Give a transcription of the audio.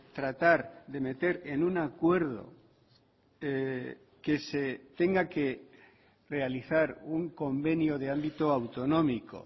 tratar de meter en un acuerdo que se tenga que realizar un convenio de ámbito autonómico